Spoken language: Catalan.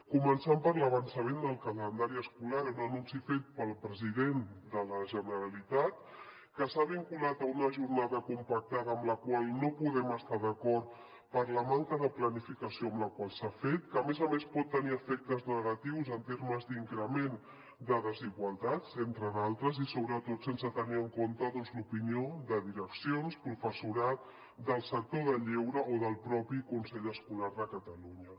començant per l’avançament del calendari escolar un anunci fet pel president de la generalitat que s’ha vinculat a una jornada compactada amb la qual no podem estar d’acord per la manca de planificació amb la qual s’ha fet que a més a més pot tenir efectes negatius en termes d’increment de desigualtats entre d’altres i sobretot sense tenir en compte doncs l’opinió de direccions professorat del sector del lleure o del propi consell escolar de catalunya